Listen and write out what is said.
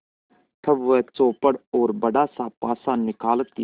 तब वह चौपड़ और बड़ासा पासा निकालती है